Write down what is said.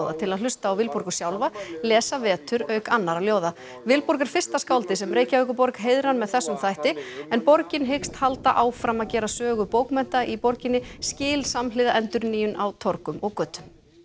til að hlusta á Vilborgu sjálfa lesa vetur auk annarra ljóða Vilborg er fyrsta skáldið sem Reykjavíkurborg heiðrar með þessum hætti en borgin hyggst halda áfram að gera sögu bókmennta í borginni skil samhliða endurnýjun á torgum og götum